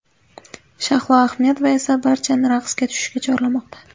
Shahlo Ahmedova esa barchani raqsga tushishga chorlamoqda.